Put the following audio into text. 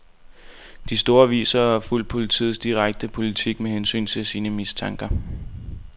De store aviser har fulgt politiets diskrete politik med hensyn til sine mistanker.